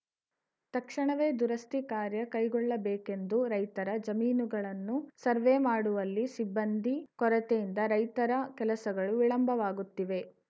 ತಕ್ಷಣವೇ ದುರಸ್ತಿ ಕಾರ್ಯ ಕೈಗೊಳ್ಳಬೇಕೆಂದು ರೈತರ ಜಮೀನಿಗಳನ್ನು ಸರ್ವೆ ಮಾಡುವಲ್ಲಿ ಸಿಬ್ಬಂದಿ ಕೊರತೆಯಿಂದ ರೈತರ ಕೆಲಸಗಳು ವಿಳಂಬವಾಗುತ್ತಿವೆ